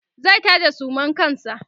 zai taje suman kansa